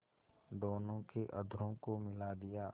दोनों के अधरों को मिला दिया